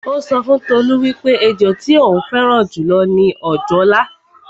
Ó sọ fún Tolú wípé ẹjọ tí ó fẹ́ràn jù lọ ni òjòlá